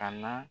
A na